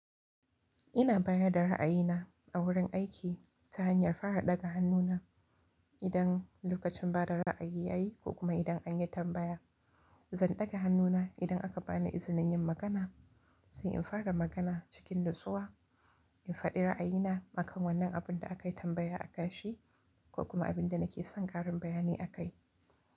Ina bayar da ra'ayina a wurin aiki, ta hanyar fara ɗaga hannuna, idan lokacin ba da ra'ayi ya yi, ko kuma idan an yi tambaya. Zan ɗaga hannu na, idan aka bani izinin yin magana, sai in fara magana cikin nutsuwa, in faɗi ra'ayi na akan wannan abun da akai tambaya a kanshi, ko kuma abin da nake son ƙarin bayani akai.